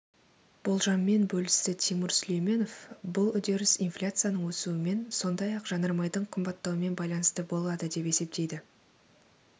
болжаммен бөлісті тимур сүлейменов бұл үдеріс инфляцияның өсуімен сондай-ақ жанармайдың қымбаттауымен байланысты болады деп есептейді